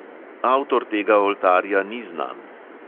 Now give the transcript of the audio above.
Avtor tega oltarja ni znan.